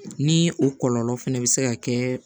Ni o kɔlɔlɔ fɛnɛ bɛ se ka kɛ